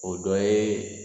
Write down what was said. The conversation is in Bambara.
O dɔ ye